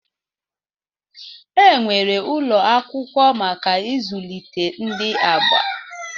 Enwere ụlọ akwụkwọ maka izụlite ndi agha.